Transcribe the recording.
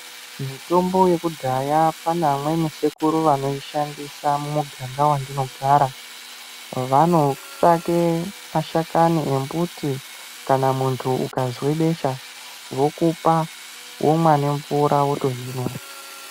Mitombo yekudhaya pana amweni sekuru vanoishandisa mumuganga wandinogara vano tsvake mashakani embuti kana muntu ukazwe besha vokupa womwa nemvura wotozvimwa